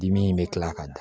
Dimi in bɛ kila ka da